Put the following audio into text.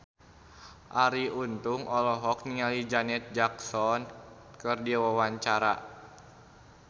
Arie Untung olohok ningali Janet Jackson keur diwawancara